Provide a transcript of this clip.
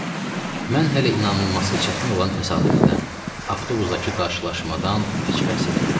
O isə, mən hələ inanılması çətin olan təsadüfdən, avtobusdakı qarşılaşmadan heç bəhs etmirəm.